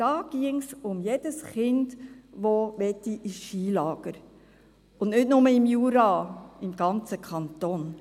Hier ginge es um jedes Kind, das ins Skilager gehen möchte und nicht nur im Jura, im ganzen Kanton.